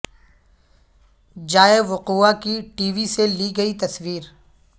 جائے وقوعہ کی ٹی وی سے لی گئی تصویر